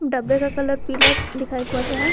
डब्बे का कलर पीला दिखाई पड़ रहा है।